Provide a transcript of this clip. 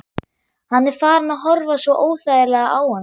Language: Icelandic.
Hann er farinn að horfa svo óþægilega á hana.